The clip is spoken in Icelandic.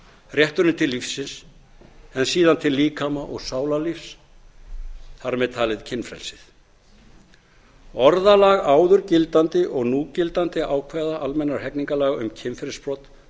rétturinn til lífsins en síðan til líkama og sálarlífs þar með talið kynfrelsið orðalag áður gildandi og núgildandi ákvæða almennra hegningarlaga um kynferðisbrot